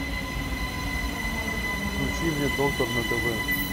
включи мне доктор на тв